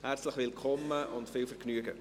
Herzlich willkommen und viel Vergnügen!